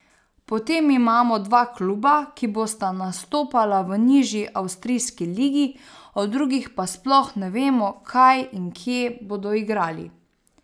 Potem imamo dva kluba, ki bosta nastopala v nižji avstrijski ligi, o drugih pa sploh ne vemo, kaj in kje bodo igrali.